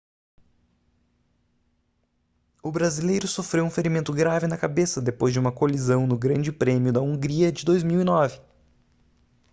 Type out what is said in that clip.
o brasileiro sofreu um ferimento grave na cabeça depois de uma colisão no grande prêmio da hungria de 2009